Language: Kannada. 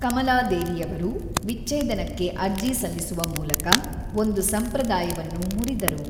ಕಮಲಾದೇವಿಯವರು ವಿಚ್ಛೇದನಕ್ಕೆ ಅರ್ಜಿ ಸಲ್ಲಿಸುವ ಮೂಲಕ ಒಂದು ಸಂಪ್ರದಾಯವನ್ನು ಮುರಿದರು.